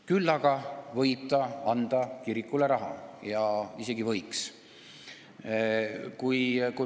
Küll aga võib ta anda kirikule raha.